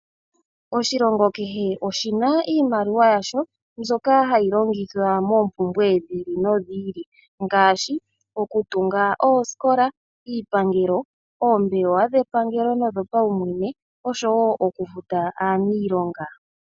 Oshilongo kehe oshi na iimaliwa yasho mbyoka hayi longithwa moompumbwe dhi ili nodhi ili ngaashi okutunga oosikola, iipangelo, oombelewa dhepangelo nodhopaumwene osho wo okufuta aaniilonga.